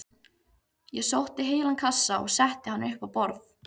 Ég sótti heilan kassa og setti hann upp á borð.